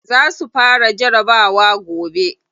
Za su fara jarabawa gobe.